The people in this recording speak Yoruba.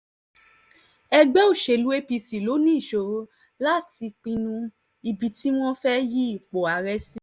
ẹgbẹ́ òṣèlú apc ló ní ìṣòro láti pinnu ibi tí wọ́n fẹ́ẹ́ yí ipò ààrẹ sí